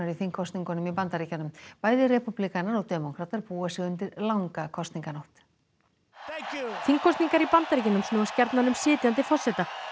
í þingkosningunum í Bandaríkjunum bæði repúblikanar og demókratar búa sig undir langa kosninganótt þingkosningar í Bandaríkjunum snúast gjarnan um sitjandi forseta